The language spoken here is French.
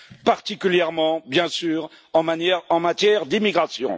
particulièrement, bien sûr, en matière d'immigration.